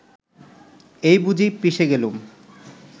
এই বুঝি পিষে গেলুম